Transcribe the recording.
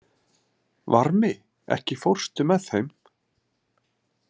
Varmi, ekki fórstu með þeim?